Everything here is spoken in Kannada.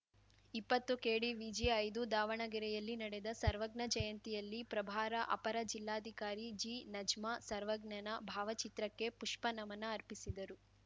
ಇಪ್ಪತ್ತುಕೆಡಿವಿಜಿಐದು ದಾವಣಗೆರೆಯಲ್ಲಿ ನಡೆದ ಸರ್ವಜ್ಞ ಜಯಂತಿಯಲ್ಲಿ ಪ್ರಭಾರ ಅಪರ ಜಿಲ್ಲಾಧಿಕಾರಿ ಜಿನಜ್ಮಾ ಸರ್ವಜ್ಞನ ಭಾವಚಿತ್ರಕ್ಕೆ ಪುಷ್ಪನಮನ ಅರ್ಪಿಸಿದರು